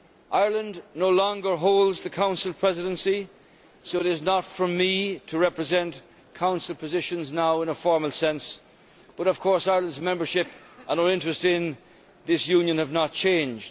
Ireland no longer holds the Council Presidency, so it is not for me to represent Council positions now in a formal sense, but of course Ireland's membership and its interest in this Union have not changed.